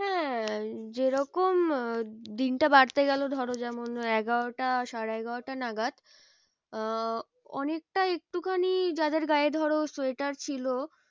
হ্যাঁ যে রকম দিনটা বাড়তে গেলো ধরো যেমন এগারোটা সাড়ে এগারোটা নাগাদ আহ অনেকটা একটুখানি যাদের গায়ে ধরো সোয়েটার ছিল।